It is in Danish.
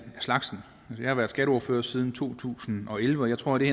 slagsen jeg har været skatteordfører siden to tusind og elleve og jeg tror at det